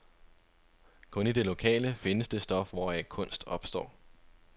Kun i det lokale findes det stof, hvoraf kunst opstår.